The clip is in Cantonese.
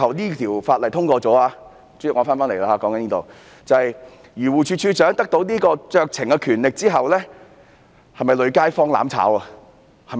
如果《條例草案》最終獲得通過，授權漁護署署長行使酌情權之後，會否"累街坊"和"攬炒"呢？